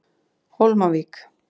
Hólmavík